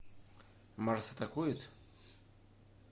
марс атакует